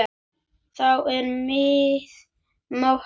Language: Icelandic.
Þá er mið nótt hér.